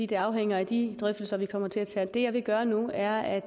det afhænger af de drøftelser vi kommer til at tage det jeg vil gøre nu er at